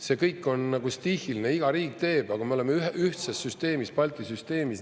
See kõik on nagu stiihiline: iga riik teeb, aga me oleme ühtses süsteemis, Balti süsteemis.